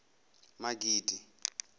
magidi